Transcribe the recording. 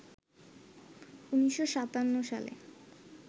১৯৫৭ সালে